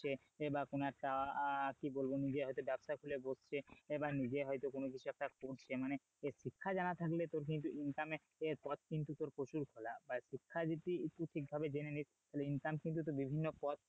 বা কোনো একটা আহ কি বলবো নিজে হয়তো ব্যবসা খুলে বসছে এ বা নিজে হয়তো কোন কিছু একটা করছে মানে শিক্ষা জানা থাকলে তোর কিন্তু income এ এ পথ কিন্তু তোর প্রচুর খোলা বা শিক্ষা যদি তুই ঠিকভাবে জেনে নিস তাহলে income কিন্তু তোর বিভিন্ন পদ থেকে,